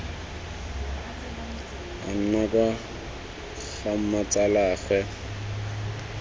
a nna kwa ga mmatsalaagwe